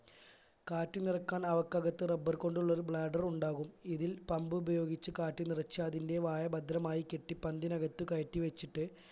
കാറ്റു നിറക്കാൻ അവക്കകത്ത് rubber കൊണ്ടുള്ളൊരു bladder ഉണ്ടാകും ഇതിൽ pump ഉപയോഗിച്ച് കാറ്റ് നിറച്ചു അതിന്റെ വായ ഭദ്രമായി കെട്ടി പന്തിനകത്ത് കയറ്റി വെച്ചിട്ട്